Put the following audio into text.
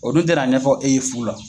O dun tɛ na ɲɛfɔ e ye fu la.